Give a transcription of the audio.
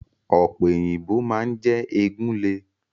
Ọ̀pẹ̀ òyìnbò máa ń jẹ́ egun le.